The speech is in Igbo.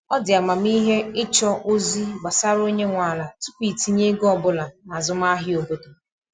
Ọ dị amamihe ịchọ ozi gbasara onye nwe ala tupu itinye ego ọbụla n'azụmahịa obodo.